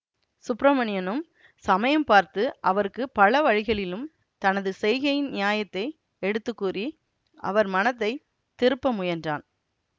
சுப்பிரமணியனும் சமயம் பார்த்து அவருக்கு பல வழிகளிலும் தனது செய்கையின் நியாயத்தை எடுத்து கூறி அவர் மனத்தை திருப்ப முயன்றான்